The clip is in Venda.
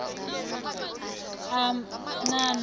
a anana natsho ni a